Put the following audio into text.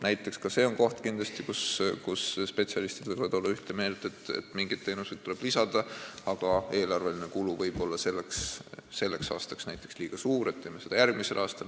Näiteks on ka see võimalus, et spetsialistid võivad olla ühte meelt, et mingid teenused tuleb loetellu lisada, aga eelarveline kulu võib olla liiga suur, seetõttu tehakse seda järgmisel aastal.